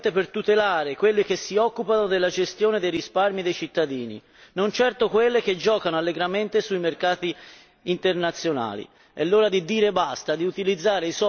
Bisognerebbe intervenire solo ed esclusivamente per tutelare quelle che si occupano della gestione dei risparmi dei cittadini e non di quelle che giocano allegramente sui mercati internazionali.